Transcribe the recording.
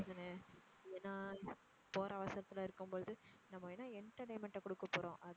தானே இல்லன்னா போற அவசரத்துல இருக்கும் போது நம்ம என்ன entertainment அ கொடுக்க போறோம்.